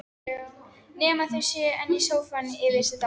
Nema þau séu enn í sófanum, yfir sig dá